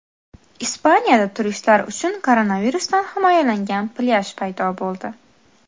Ispaniyada turistlar uchun koronavirusdan himoyalangan plyaj paydo bo‘ldi .